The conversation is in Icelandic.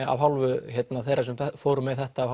af hálfu þeirra sem fóru með þetta af